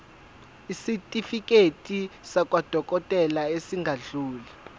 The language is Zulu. isitifiketi sakwadokodela esingadluli